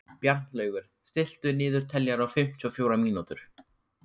Bjarnlaugur, stilltu niðurteljara á fimmtíu og fjórar mínútur.